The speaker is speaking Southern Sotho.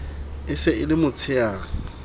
e se e le motsheare